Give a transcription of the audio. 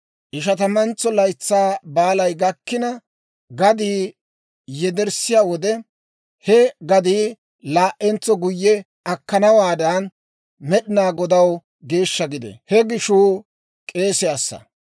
Ishatamantso Laytsaa Baalay gakkina gadii yedettiyaa wode, he gadii laa"entso guyye akkanawaadan Med'inaa Godaw geeshsha gidee. He gishuu k'eesiyaassa.